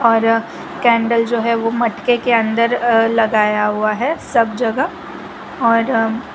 और कैंडल जो है वो मटके के अंदर लगाया हुआ है सब जगह और--